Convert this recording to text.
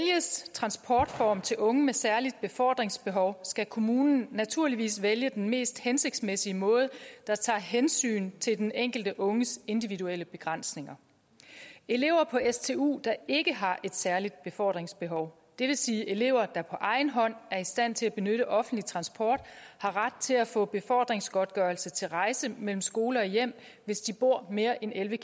transportform til unge med særlige befordringsbehov skal kommunen naturligvis vælge den mest hensigtsmæssige måde der tager hensyn til den enkelte unges individuelle begrænsninger elever på stu der ikke har et særligt befordringsbehov det vil sige elever der på egen hånd er i stand til at benytte offentlig transport har ret til at få befordringsgodtgørelse til rejse mellem skole og hjem hvis de bor mere end elleve